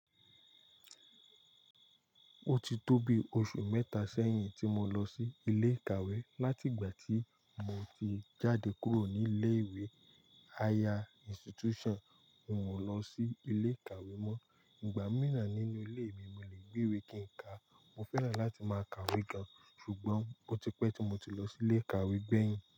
Ó ti tóbi oṣù mẹ́ta sẹ́yìn tí mo lọ sí ilé ìkàwé. Láti ìgbà tí mo ti jáde kúrò ní ilé ìwé higher institution, n ò lọ sí ilé ìkàwé mọ. Ìgbà míràn nínú ilé mi, mo le gbe wé kí n ka. Mo fẹ́ràn láti máa kàwé gan, ṣùgbọ́n ó ti pẹ́ tí mo ti lọ sí ilé ìkàwé gbẹ̀yìn.